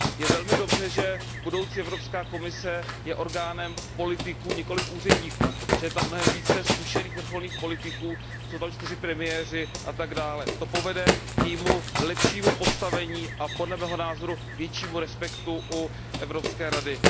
Je velmi dobře, že budoucí Evropská komise je orgánem politiků, nikoliv úředníků, že je tam mnohem více zkušených vrcholných politiků, jsou tam čtyři premiéři atd. To povede k jejímu lepšímu postavení a podle mého názoru k většímu respektu u Evropské rady.